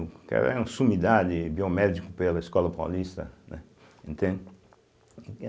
O cara é um sumidade biomédico pela Escola Paulista, né, entende?